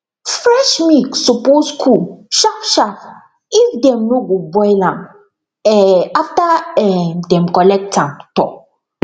fresh milk suppose cool sharpsharp if dem no go boil am um after um dem collect am um